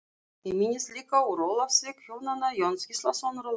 Ég minnist líka úr Ólafsvík hjónanna Jóns Gíslasonar og Láru